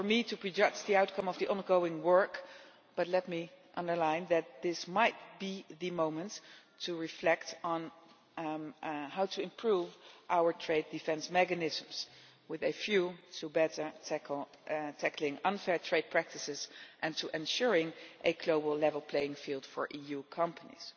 it is not for me to prejudge the outcome of the ongoing work, let me underline that this might be the moment to reflect on how to improve our trade defence mechanisms with a view to better tackling unfair trade practices and to ensuring a global level playing field for EU companies.